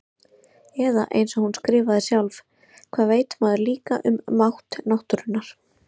Eða einsog hún skrifaði sjálf: Hvað veit maður líka um mátt náttúrunnar.